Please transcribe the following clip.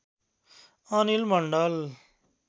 Anil Mandal